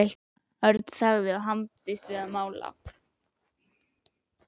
Örn þagði og hamaðist við að mála.